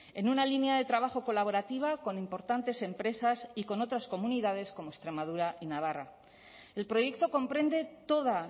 en una línea de trabajo colaborativa con importantes empresas y con otras comunidades como extremadura y navarra el proyecto comprende toda